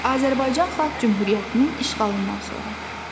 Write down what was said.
Azərbaycan Xalq Cümhuriyyətinin işğalından sonra.